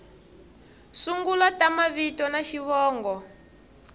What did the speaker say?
sungula ta mavito na xivongo